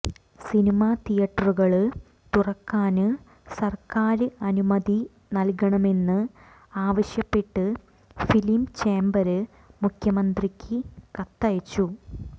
cinema തിയറ്ററുകള് തുറക്കാന് സര്ക്കാര് അനുമതി നല്കണമെന്ന് ആവിശ്യപ്പെട്ട് ഫിലിം ചേംബര് മുഖ്യമന്ത്രിക്ക് കത്തയച്ചു